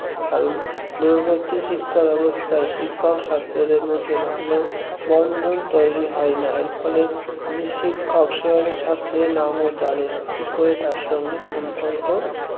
কারণ দূরবর্তী শিক্ষা ব্যবস্থায় শিক্ষক ছাত্রদের মধ্যে ভালো বন্ধন তৈরি হয় না এর ফলে যে শিক্ষক সে হয়তো ছাত্রের নামও জানে না কি করে তার সাথে সম্পর্ক